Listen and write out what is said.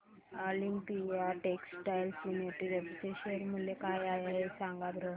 Olympia textiles limited चे share मूल्य काय आहे सांगा बरं